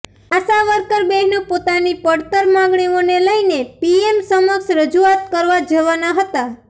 આશાવર્કર બહેનો પોતાની પડતર માંગણીઓને લઇને પીએમ સમક્ષ રજૂઆત કરવા જવાના હતા